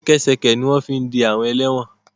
Ṣẹkẹ́ṣẹkẹ̀ ni wọ́n fi ń de ẹlẹ́wọ̀n